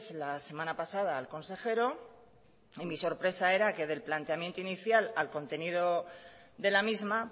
la semana pasada al consejero y mi sorpresa era que del planteamiento inicial al contenido de la misma